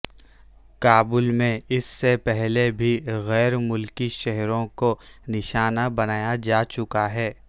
کابل میں اس سے پہلے بھی غیر ملکی شہریوں کو نشانہ بنایا جا چکا ہے